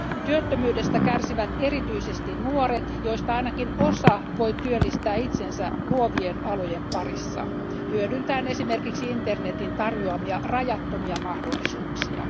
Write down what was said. Työttömyydestä kärsivät erityisesti nuoret, joista ainakin osa voi työllistää itsensä luovien alojen parissa hyödyntäen esimerkiksi internetin tarjoamia rajattomia mahdollisuuksia.